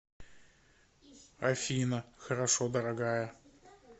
афина хорошо дорогая